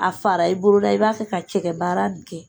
A fara i boro ra i b'a fɛ ka cɛkɛ baara nin kɛ.